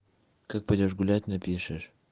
как пойдёшь гулять напишешь